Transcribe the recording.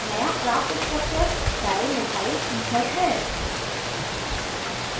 नया प्राप्त structure dimethyl ether dimethylether है